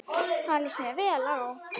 Það líst mér vel á.